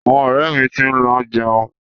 Àwọn ọ̀rẹ́ mi ti ń lọ jẹun.